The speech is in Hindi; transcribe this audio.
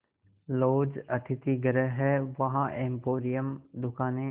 लॉज अतिथिगृह हैं वहाँ एम्पोरियम दुकानें